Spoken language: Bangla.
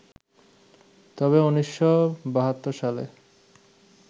তবে ১৯৭২ সালে